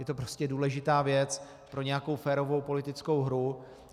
Je to prostě důležitá věc pro nějakou férovou politickou hru.